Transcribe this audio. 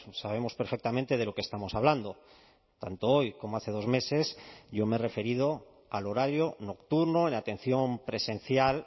sabemos perfectamente de lo que estamos hablando tanto hoy como hace dos meses yo me he referido al horario nocturno en atención presencial